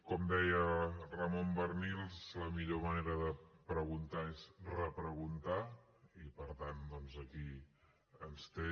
com deia ramon barnils la millor manera de preguntar és repreguntar i per tant doncs aquí ens té